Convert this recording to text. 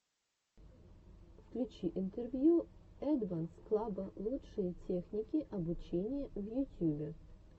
включи интервью эдванс клаба лучшие техники обучения в ютюбе